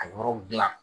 A yɔrɔw dilan